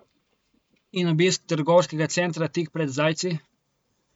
In obisk trgovskega centra tik pred zdajci?